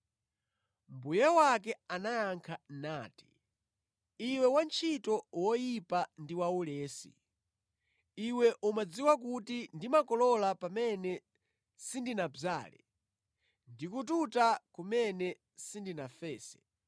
“Mbuye wake anayankha nati, ‘Iwe wantchito woyipa ndi waulesi! Iwe umadziwa kuti ndimakolola pamene sindinadzale, ndi kututa kumene sindinafese.